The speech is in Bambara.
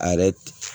A yɛrɛ